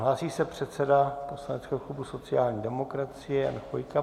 Hlásí se předseda poslaneckého klubu sociální demokracie Jan Chvojka.